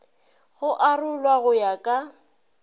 go arolwa go ya ka